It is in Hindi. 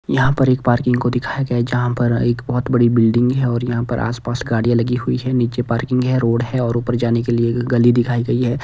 यहां पर एक पार्किंग को दिखाया गया है जहां पर एक बहुत बड़ी बिल्डिंग है और यहां पर आसपास गाड़ियां लगी हुई हैं नीचे पार्किंग है रोड है और ऊपर जाने के लिए एक गली दिखाई गई है।